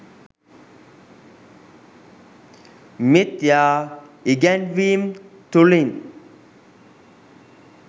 මිථ්‍යා ඉගැන්වීම් තුළින්